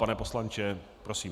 Pane poslanče, prosím.